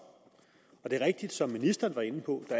og det er rigtigt som ministeren var inde på at